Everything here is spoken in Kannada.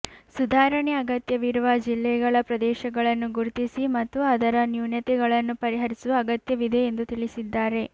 ಸುಧಾರಣೆ ಅಗತ್ಯವಿರುವ ಜಿಲ್ಲೆಗಳ ಪ್ರದೇಶಗಳನ್ನು ಗುರ್ತಿಸಿ ಮತ್ತು ಅದರ ನ್ಯೂನತೆಗಳನ್ನು ಪರಿಹರಿಸುವ ಅಗತ್ಯವಿದೆ ಎಂದು ತಿಳಿಸಿದ್ದಾರೆ